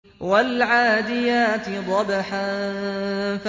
وَالْعَادِيَاتِ ضَبْحًا